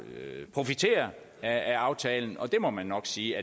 profiterer af aftalen og det må man nok sige